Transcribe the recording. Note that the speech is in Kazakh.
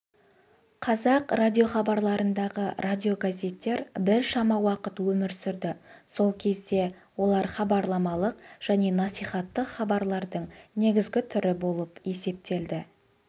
қазақ радиохабарларындағы радиогазеттер біршама уақыт өмір сүрді сол кезде олар хабарламалық және насихаттық хабарлардың негізгі түрі болып есептелді